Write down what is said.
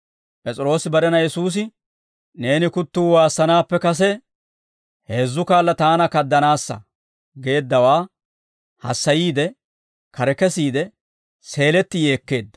P'es'iroosi barena Yesuusi, «Neeni kuttuu waassanaappe kase heezzu kaala taana kaadanaassa» geeddawaa hassayiide, kare kesiide, seeletti yeekkeedda.